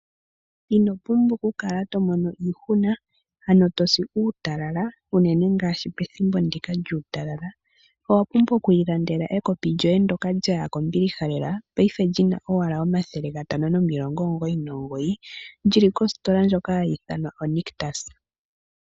Ino pumbwa okukala to mono iihuna , ano tosi uutalala unene ngaashi pethimbo ndika lyuutalala . Owa pumbwa oku ilandela ekopi lyoye Ndola lyaya kombiliha lela paife li na owala N$599 , li li koositola ndhoka hayi ithanwa Nictus.